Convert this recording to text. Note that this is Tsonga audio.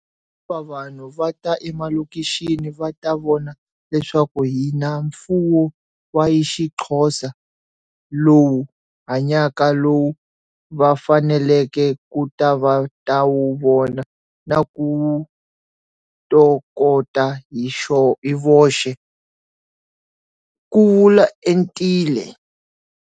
Vanhu va ta emalokixini va ta vona leswaku hi na mfuwo wa isiXhosa, lowu hanyaka lowu va faneleke ku ta va ta wu vona na ku wu tokota hi voxe, ku vula Entile.